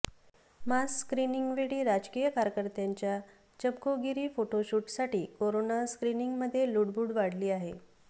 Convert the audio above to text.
मास स्क्रीनिंगवेळी राजकीय कार्यकर्त्यांच्या चमकोगिरी फोटोशुटसाठी कोरोना स्क्रीनिंगमध्ये लुडबुड वाढली आहे